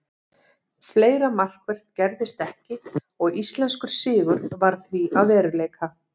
Fleira markvert gerðist ekki og íslenskur sigur varð því að veruleika.